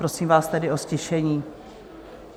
Prosím vás tedy o ztišení.